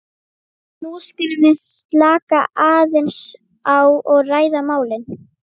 nú skulum við slaka aðeins á og ræða málin.